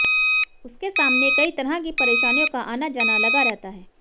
उसके सामने कई तरह की परेशानियों का आना जाना लगा रहता है